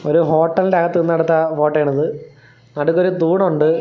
ഒരു ഹോട്ടലിന്റെ അകത്ത് നിന്നെടുത്ത ഫോട്ടോ ആണിത് നടുക്ക് ഒരു തൂണുണ്ട്.